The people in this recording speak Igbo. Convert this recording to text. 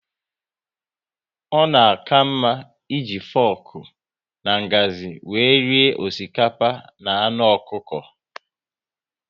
Ọ na aka mma eji foku na ngazi wéré rie osikapa na anụ ọkụkọ